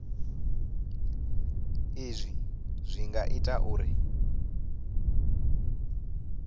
izwi zwi nga ita uri